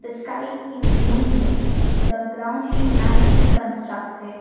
the sky is gloomy the ground is nicely constructed.